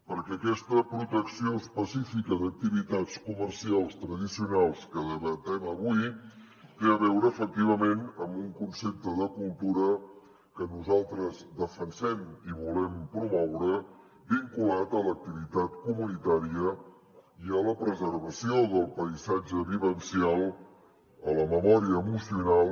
perquè aquesta protecció específica d’activitats comercials tradicionals que debatem avui té a veure efectivament amb un concepte de cultura que nosaltres defensem i volem promoure vinculat a l’activitat comunitària i a la preservació del paisatge vivencial a la memòria emocional